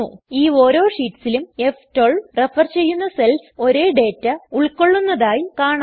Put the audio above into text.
ഈ ഓരോ ഷീറ്റ്സിലും ഫ്12 റഫർ ചെയ്യുന്ന സെൽസ് ഒരേ ഡേറ്റ ഉൾക്കൊള്ളുന്നതായി കാണാം